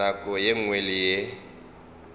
nako ye nngwe le ye